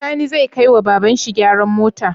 Sani zai kai wa baban shi gyaran mota?